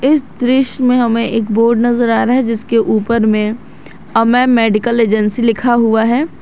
इस दृश्य में हमें एक बोर्ड नजर आ रहे हैं जिसके ऊपर में अमय मेडिकल एजेंसी लिखा हुआ है।